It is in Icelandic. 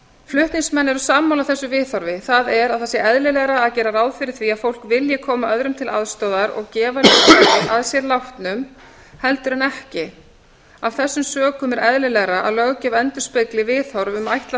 flutningsmenn eru sammála þessu viðhorfi það er að það sé eðlilegra að gera ráð fyrir því að fólk vilji koma öðrum til aðstoðar og gefa líffæri að sér látnum heldur en ekki af þessum sökum er eðlilegra að löggjöf endurspegli viðhorf um ætlað